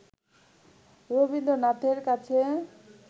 রবীন্দ্রনাথের কাছে